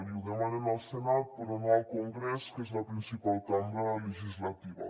i ho demanen al senat però no al congrés que és la principal cambra legislativa